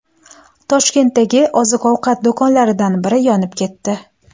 Toshkentdagi oziq-ovqat do‘konlaridan biri yonib ketdi .